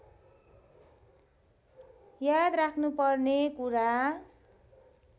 याद राख्नुपर्ने कुरा